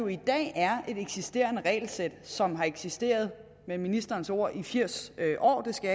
i dag er et eksisterende regelsæt som har eksisteret med ministerens ord i firs år det skal